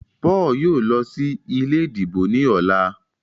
Paul yóò ló sí ilé ìdìbò ní ọlá.